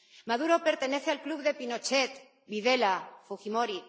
Maduro pertenece al club de Pinochet, Videla, Fujimori.